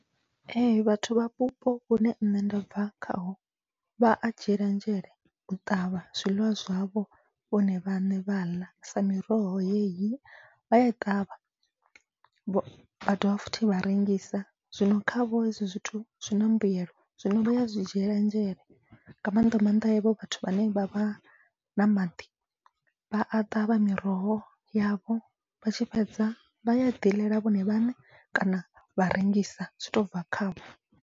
Ee vhathu vha vhupo vhune nṋe nda bva khaho vha a dzhiela nzhele u ṱavha zwiḽiwa zwavho vhone vhaṋe vha ḽa, sa miroho yeyi vhaya i ṱavha vha dovha futhi vha rengisa. Zwino khavho hezwi zwithu zwina mbuyelo zwino vhaya zwi dzhiela nzhele nga mannḓa maanḓa havho vhathu vhane vha vha na maḓi, vha a ṱavha miroho yavho vha tshi fhedza vha yaḓi ḽela vhone vhaṋe kana vha rengisa zwi tobva khavho.